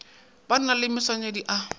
ba na le maswanedi a